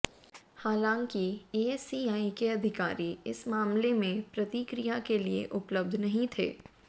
हालांकि एएससीआई के अधिकारी इस मामले में प्रतिक्रिया के लिए उपलब्ध नहीं थे